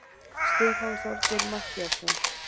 Stefán Þorgeir Matthíasson!